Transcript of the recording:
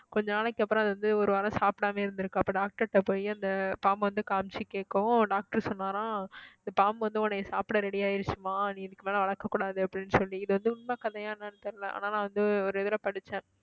கொஞ்ச நாளைக்கு அப்புறம் அதை வந்து ஒரு வாரம் சாப்பிடாமயே இருந்திருக்கு அப்ப doctor ட்ட போயி அந்த பாம்பை வந்து காமிச்சு கேக்கும் doctor சொன்னாராம் இந்த பாம்பு வந்து பாம்பு வந்து உன்னைய சாப்பிட ready ஆயிடுச்சும்மா நீ இதுக்கு மேல வளர்க்கக் கூடாது அப்படின்னு சொல்லி இது வந்து உண்மை கதையா என்னன்னு தெரியலே ஆனா நான் வந்து ஒரு இதுல படிச்சேன்